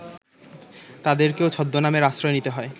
তাঁদেরকেও ছদ্মনামের আশ্রয় নিতে হয়